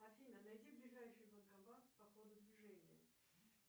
афина найди ближайший банкомат по ходу движения